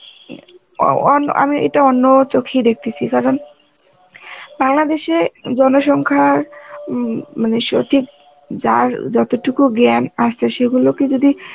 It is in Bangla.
অউ~ অন~ আমি এটা অন্য চোখেই দেখতেসি কারণ বাংলাদেশে জনসংখ্যার উম মানে সঠিক যার যতটুকু জ্ঞান আছে সেগুলোকে যদি